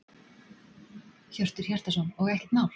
Hjörtur Hjartarson: Og ekkert mál?